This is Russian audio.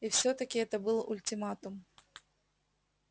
и всё-таки это был ультиматум